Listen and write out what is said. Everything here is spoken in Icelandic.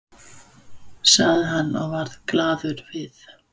sagði hann og varð glaður við.